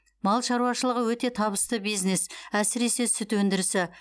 мал шаруашылығы өте табысты бизнес әсіресе сүт өндірісі